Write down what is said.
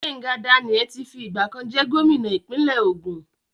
Gbenga Daniel ti fi ìgbà kan jẹ́ gómìnà ìpínlẹ̀ Ògùn.